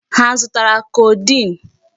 Ha azụtara codeine?